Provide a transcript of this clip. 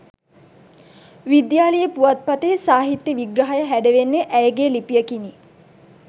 විද්‍යාලීය පුවත්පතෙහි සාහිත්‍ය විග්‍රහය හැඩවෙන්නේ ඇයගේ ලිපියකිනි